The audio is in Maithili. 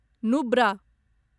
नुब्रा